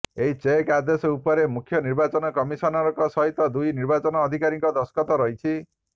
ଏହି ରୋକ୍ ଆଦେଶ ଉପରେ ମୁଖ୍ୟ ନିର୍ବାଚନ କମିଶନରଙ୍କ ସହିତ ଦୁଇ ନିର୍ବାଚନ ଅଧିକାରୀଙ୍କ ଦସ୍ତଖତ ରହିଛି